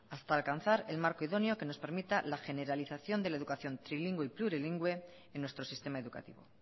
hasta alcanzar el marco idóneo que nos permita la generalización de la educación trilingüe y plurilingüe en nuestro sistema educativo